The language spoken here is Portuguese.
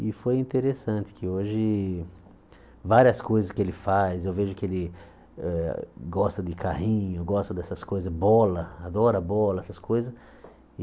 E foi interessante que hoje várias coisas que ele faz, eu vejo que ele eh gosta de carrinho, gosta dessas coisas, bola, adora bola, essas coisas.